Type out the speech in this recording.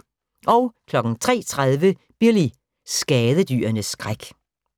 03:30: Billy – skadedyrenes skræk